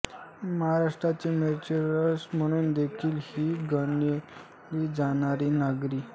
महाराष्ट्राचे मँचेस्टर म्हणून देखील ही गणली जाणारी नगरी